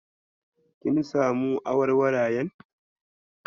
Kin samu awarwarayen?